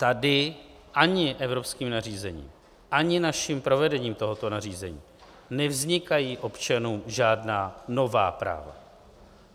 Tady ani evropským nařízením, ani naším provedením tohoto nařízení nevznikají občanům žádná nová práva.